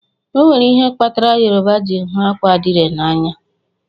Onwere ihe kpatara Yoruba ji hụ akwa adire na anya.